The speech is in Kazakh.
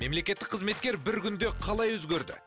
мемлекеттік қызметкер бір күнде қалай өзгерді